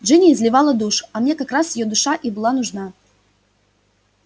джинни изливала душу а мне как раз её душа и была нужна